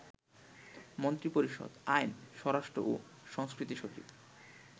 মন্ত্রিপরিষদ, আইন, স্বরাষ্ট্রও সংস্কৃতিসচিব